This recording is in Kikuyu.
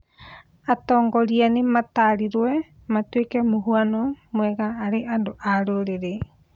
Atongoria nĩmatariwo matuĩke mũhuano mwega harĩ andũ a rurĩrii